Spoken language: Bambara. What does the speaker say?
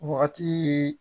Wagati